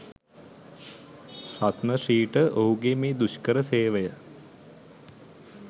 රත්න ශ්‍රීට ඔහුගේ මේ දුෂ්කර සේවය